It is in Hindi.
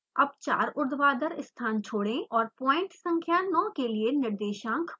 अब चार ऊर्ध्वाधर स्थान छोड़ें और पॉइंट संख्या 9 के लिए निर्देशांक प्रविष्ट करें